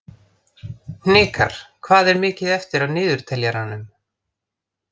Hnikar, hvað er mikið eftir af niðurteljaranum?